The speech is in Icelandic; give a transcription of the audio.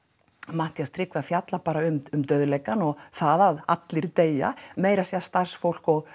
Matthías Tryggvi að fjalla bara um dauðleikann og það að allir deyja meira að segja starfsfólk